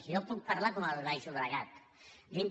jo puc parlar com en el baix llobregat dintre